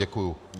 Děkuji.